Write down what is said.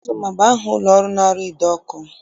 Ozoma bụ aha ụlọọrụ na-arụ ide ọkụ